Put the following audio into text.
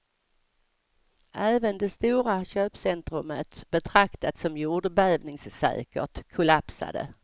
Även det stora köpcentrumet, betraktat som jordbävningssäkert, kollapsade.